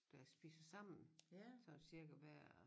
Der spiser sammen sådan cirka hver